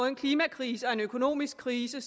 en klimakrise og en økonomisk krise